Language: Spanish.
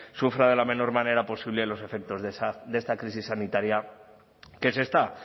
sufra de la menor manera posible los efectos de esta crisis sanitaria que se está